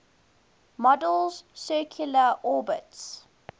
model's circular orbits